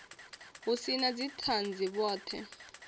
hu si na dzithanzi vhothe